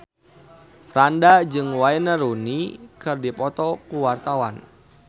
Franda jeung Wayne Rooney keur dipoto ku wartawan